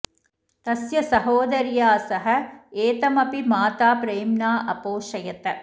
तस्य सहोदर्या सह एतम अपि माता प्रेम्णा अपोषयत